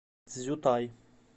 цзютай